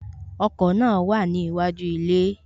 Ọkọ̀ náà wà níwájú ilé